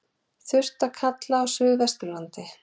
Þurrt að kalla á suðvesturlandi